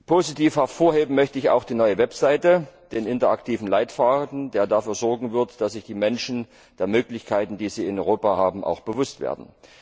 Positiv hervorheben möchte ich auch die neue Website, den interaktiven Leitfaden, der dafür sorgen wird, dass sich die Menschen der Möglichkeiten, die sie in Europa haben, auch bewusst werden.